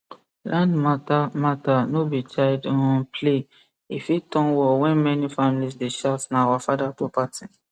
land matter matter no be child um play e fit turn war when many families dey shout na our father property